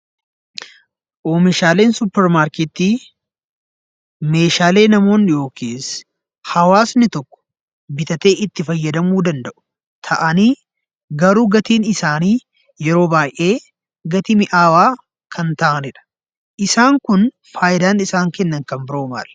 Oomishaaleen suuparmarkeetii meeshaalee namoonni yookiis hawaasni tokko bitatee itti fayyadamuu danda'u ta'anii garuu gatiin isaanii yeroo baay'ee gatii mi'aawaa kan ta'anidha. Isaan kun faayidaan isaan kennan kan biroon maali?